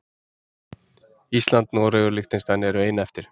Ísland, Noregur og Liechtenstein eru ein eftir.